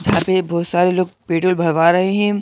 जहाँ पे बहुत सारे लोग पेट्रोल भरवा रहे हैं।